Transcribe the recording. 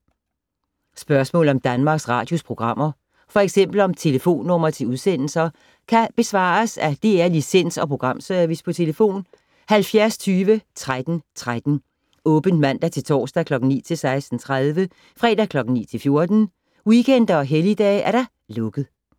Spørgsmål om Danmarks Radios programmer, f.eks. om telefonnumre til udsendelser, kan besvares af DR Licens- og Programservice: tlf. 70 20 13 13, åbent mandag-torsdag 9.00-16.30, fredag 9.00-14.00, weekender og helligdage: lukket.